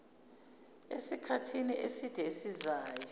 esikhathini eside esizayo